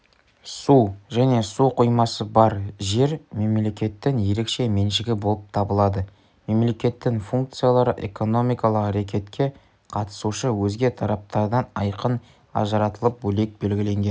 су және су қоймасы бар жер мемлекеттің ерекше меншігі болып табылады мемлекеттің функциялары экономикалық рекетке қатысушы өзге тараптардан айқын ажыратылып бөлек белгіленген